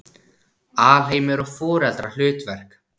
Alheimur og foreldrahlutverk